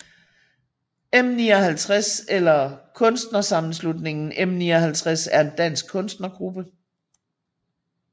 M59 eller Kunstnersammenslutningen M59 er en dansk kunstnergruppe